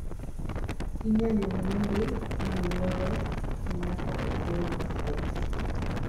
inyalo ng'ede maluore nyako ogol mafua